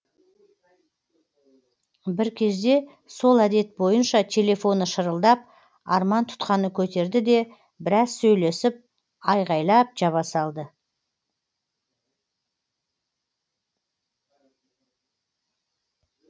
бір кезде сол әдет бойынша телефоны шырылдап арман тұтқаны көтерді де біраз сөйлесіп айғайлап жаба салды